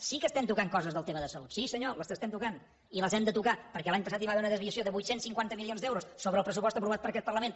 sí que estem tocant coses del tema de salut sí senyor les estem tocant i les hem de tocar perquè l’any passat hi va haver una desviació de vuit cents i cinquanta milions d’euros sobre el pressupost aprovat per aquest parlament